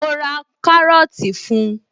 Mo ra kárọ́tì fun